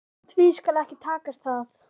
En því skal ekki takast það.